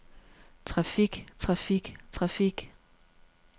traffik traffik traffik